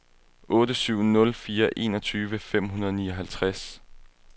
otte syv nul fire enogtyve fem hundrede og nioghalvtreds